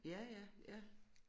Ja ja ja